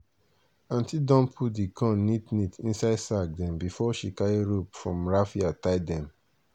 aunti don put di corn neat neat inside sack dem before she carry rope from raffia tie dem.